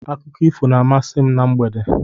Akụkọ ifo na-amasị m na mgbede.